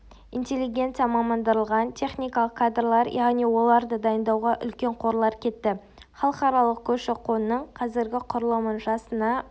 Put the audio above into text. интеллигенция мамандандырылған техникалық кадрлар яғни оларды дайындауға үлкен қорлар кетті халықаралық көші-қонның қазіргі құрылымын жасына